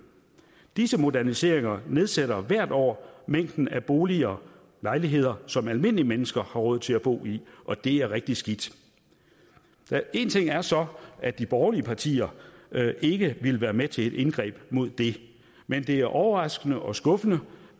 disse moderniseringer nedsætter hvert år mængden af boliger lejligheder som almindelige mennesker har råd til at bo i og det er rigtig skidt en ting er så at de borgerlige partier ikke ville være med til et indgreb mod det men det var overraskende og skuffende